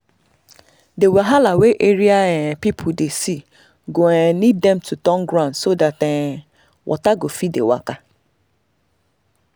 the wahala wey area um people dey see go um need dem to turn ground so that um water go fit dey waka.